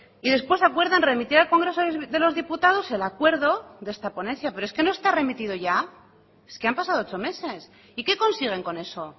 y después acuerdan remitir al congreso de los diputados el acuerdo de esta ponencia pero es que no está remitido ya es que han pasado ocho meses y qué consiguen con eso